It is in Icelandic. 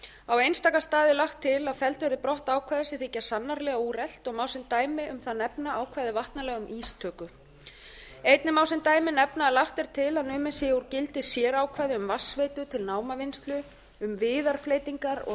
á einstaka stað er lagt til að felld verði brott ákvæði sem þykja sannarlega úrelt og má sem dæmi þar nefna ákvæði vatnalaga um ístökur einnig má sem dæmi nefna að lagt er til að numið sé úr gildi sérákvæði um vatnsveitur til námavinnslu um viðarfleytingar og